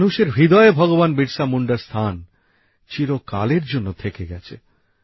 মানুষের হৃদয়ে ভগবান বিরসা মুন্ডার স্থান চিরকালের জন্য থেকে গেছে